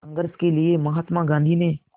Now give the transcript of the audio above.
संघर्ष के लिए महात्मा गांधी ने